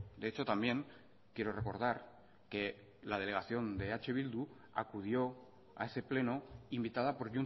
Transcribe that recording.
de hecho también quiero recordar que la delegación de eh bildu acudió a ese pleno invitada por